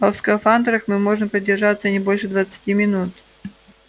а в скафандрах мы можем продержаться не больше двадцати минут